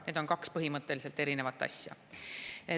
Need on kaks põhimõtteliselt erinevat asja.